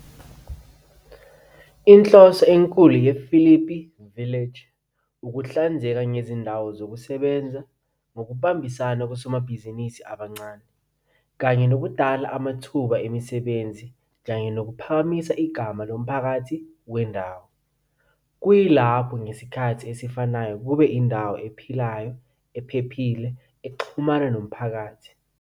Inhloso enkulu yePhilippi Village ukuhlinzeka ngezindawo zokusebenza ngokubambisana kosomabhizinisi abancane, kanye nokudala amathuba emisebenzi kanye nokuphakamisa igama lomphakathi wendawo, kuyilapho ngesikhathi esifanayo kube indawo ephilayo ephephile ukuxhumana nomphakathi.